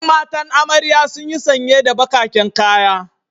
Yan matan amarya duk sunyi sanye da bakaken kaya.